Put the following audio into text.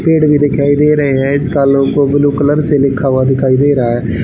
पेड़ भी दिखाई दे रहे हैं। इसका लोगो ब्लू कलर से लिखा हुआ दिखाई दे रहा है।